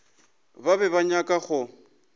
ba be ba nyaka go